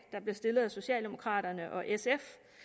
der blev stillet af socialdemokraterne og sf